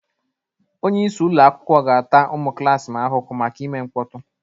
Onye isi ụlọ akwụkwọ ga-ata ụmụ klas m ahụhụ maka ime mkpọtụ